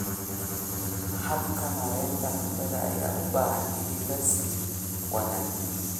Habka maareynta cuntada ayaa u baahan in la sii wanaajiyo.